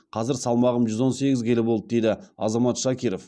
қазір салмағым жүз он сегіз келі болды дейді азамат шакиров